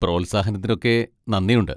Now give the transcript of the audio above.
പ്രോത്സാഹനത്തിനൊക്കെ നന്ദിയുണ്ട്.